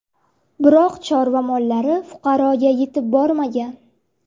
Biroq chorva mollari fuqaroga yetib bormagan.